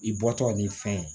I bɔtɔ ni fɛn